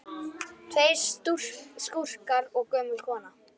Tveir skúrkar og gömul kona